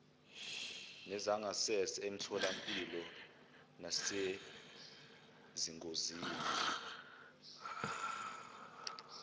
nezangasese emitholampilo nasezingosini